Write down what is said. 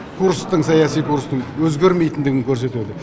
курстың саяси курстың өзгермейтіндігін көрсетіп отыр